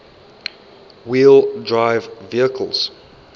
wheel drive vehicles